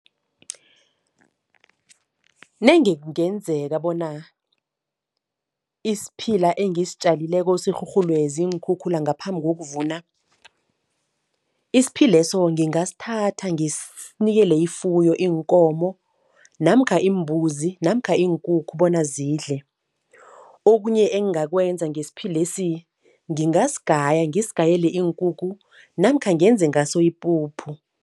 Nenge kungenzeka bona isiphila engisitjalileko sirhurhulwe ziinkhukhula ngaphambi kokuvuna, isiphileso ngingasithatha ngisinikele ifuyo, iinkomo namkha imbuzi namkha iinkukhu bona zidle. Okunye engingakwenza ngesiphilesi, ngingasigaya ngisigayele iinkukhu namkha ngenze ngaso ipuphu.